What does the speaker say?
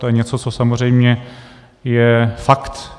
To je něco, co samozřejmě je fakt.